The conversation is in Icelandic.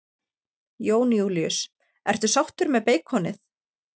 Jón Júlíus: Ertu sáttur með beikonið?